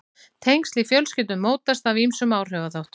tengsl í fjölskyldum mótast af ýmsum áhrifaþáttum